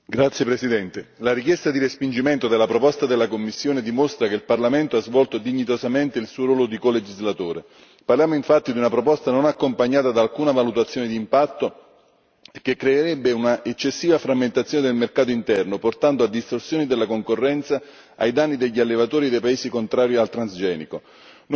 Signor Presidente, onorevoli colleghi, la richiesta di respingimento della proposta della Commissione dimostra che il Parlamento ha svolto dignitosamente il suo ruolo di colegislatore. Parliamo infatti di una proposta non accompagnata da alcuna valutazione di impatto, che creerebbe un'eccessiva frammentazione del mercato interno portando a distorsioni della concorrenza ai danni degli allevatori dei paesi contrari al transgenico.